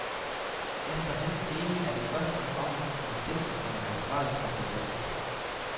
Efter hans mening er det først og fremmest producenten, som er ansvarlig for produktet.